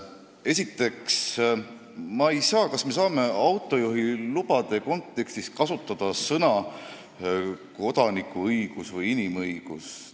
Esiteks, kas me saame autojuhilube silmas pidades kasutada sõna "kodanikuõigus" või "inimõigus"?